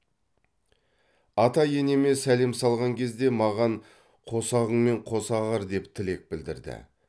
ата енеме сәлем салған кезде маған қосағыңмен қоса ағар деп тілек білдірді